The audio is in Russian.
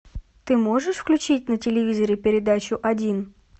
ты можешь включить на телевизоре передачу один